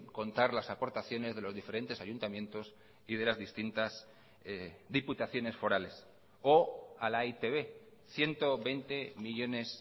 contar las aportaciones de los diferentes ayuntamientos y de las distintas diputaciones forales o a la e i te be ciento veinte millónes